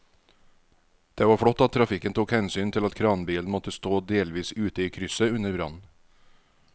Det var flott at trafikken tok hensyn til at kranbilen måtte stå delvis ute i krysset under brannen.